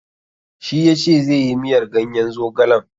Shi yace zai yi miyar ganyen zogalen.